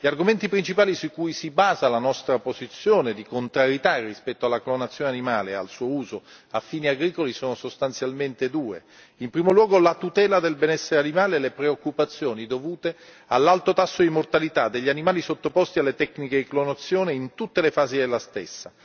Gli argomenti principali su cui si basa la nostra posizione di contrarietà rispetto alla clonazione animale e al suo uso a fini agricoli sono sostanzialmente due in primo luogo la tutela del benessere animale e le preoccupazioni dovute all'alto tasso di mortalità degli animali sottoposti alle tecniche di clonazione in tutte le fasi della stessa.